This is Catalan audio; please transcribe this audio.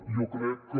jo crec que